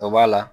O b'a la